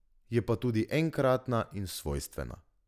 Je pa tudi enkratna in svojstvena.